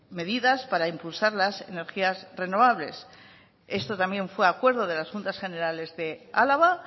medidas para impulsar las energías renovables esto también fue acuerdo de las juntas generales de álava